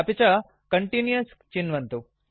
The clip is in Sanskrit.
अपि च कन्टिन्युअस् चिन्वन्तु